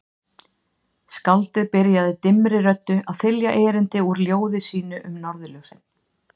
Skáldið byrjaði dimmri röddu að þylja erindi úr ljóði sínu um Norðurljósin